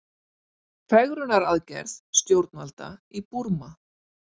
Fegrunaraðgerð stjórnvalda í Búrma